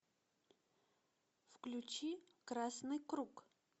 включи красный круг